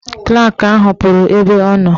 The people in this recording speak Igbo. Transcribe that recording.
Klak ahụ pụrụ ebe ọ nọ.